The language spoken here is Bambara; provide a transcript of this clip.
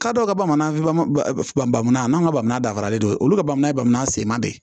K'a dɔ ka bamananfan bana n'an ka bamanan dafaralen don olu ka bamanan ye bamana senba de ye